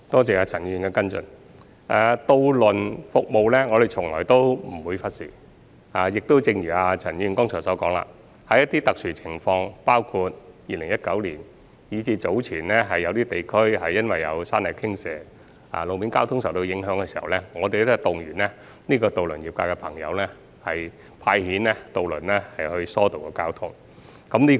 就渡輪服務而言，我們從來不會忽視，亦正如陳議員剛才所說，遇上特殊情況，包括在2019年及早前有地區因山泥傾瀉而路面交通受影響時，我們會動員渡輪業界的朋友派遣渡輪疏導交通。